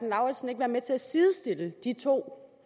lauritzen ikke være med til at sidestille de to